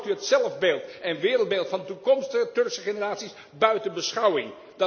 Of laat u het zelfbeeld en wereldbeeld van toekomstige Turkse generaties buiten beschouwing?